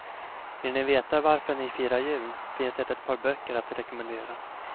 Vill ni veta varför ni firar jul finns det ett par böcker att rekommendera.